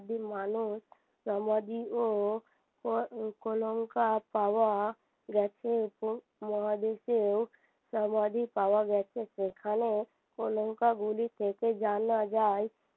আদিম মানুষ সমাধিও কলংকার পাওয়া গেছে এবং মহাদেশেও সমাধি পাওয়া গেছে সেখানে কলংকাগুলি থেকে জানা যায়